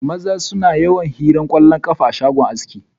Maza suna yawan hiran kwallon kafa a shagon aski.